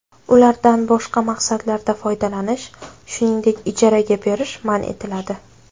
Ulardan boshqa maqsadlarda foydalanish, shuningdek, ijaraga berish man etiladi.